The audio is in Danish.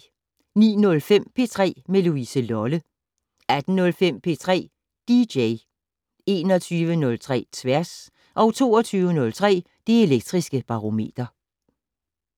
09:05: P3 med Louise Lolle 18:05: P3 dj 21:03: Tværs 22:03: Det Elektriske Barometer